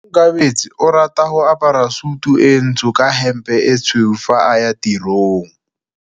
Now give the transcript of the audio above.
Onkabetse o rata go apara sutu e ntsho ka hempe e tshweu fa a ya tirong.